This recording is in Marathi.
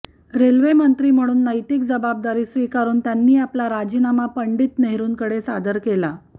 रेल्वेमंत्री म्हणून नैतिक जबाबदारी स्वीकारून त्यांनी आपला राजीनामा पंडित नेहरूंकडे सादर केला